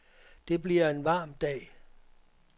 Det bliver en varm dag.